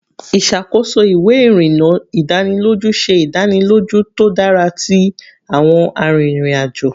Iṣakoso iwe irinna idaniloju se idaniloju to dara ti awọn arinrin-ajo